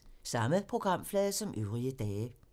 Samme programflade som øvrige dage